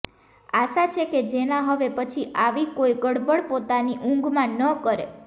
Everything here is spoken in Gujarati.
આશા છે કે જેના હવે પછી આવી કોઈ ગડબડ પોતાની ઉંઘમાં ન કરે